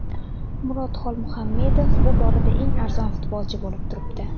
Murod Xolmuhamedov bu borada eng arzon futbolchi bo‘lib turibdi.